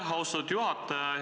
Aitäh, austatud juhataja!